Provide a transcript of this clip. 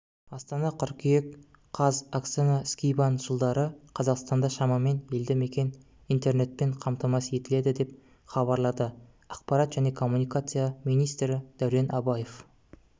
астана қыркүйек қаз оксана скибан жылдары қазақстанда шамамен елді мекен интернетпен қамтамасыз етіледі деп хабарлады ақпарат және коммуникация министрі дәурен абаев